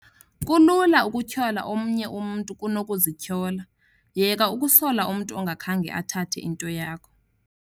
Kulula ukutyhola omnye umntu kunokuzityhola. Yeka ukusola umntu ongakhange athathe into yakho.